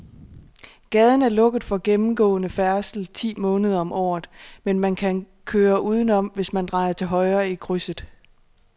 Gaden er lukket for gennemgående færdsel ti måneder om året, men man kan køre udenom, hvis man drejer til højre i krydset.